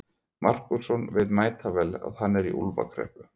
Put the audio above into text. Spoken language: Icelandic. Markússon veit mætavel að hann er í úlfakreppu.